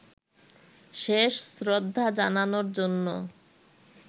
শেষ শ্রদ্ধা জানানোর জন্য